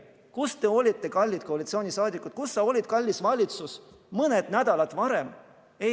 Kus te olite, kallid koalitsioonisaadikud, kus sa olid, kallis valitsus, mõni nädal varem?